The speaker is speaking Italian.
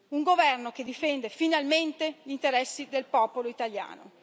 un governo che difende finalmente gli interessi del popolo italiano.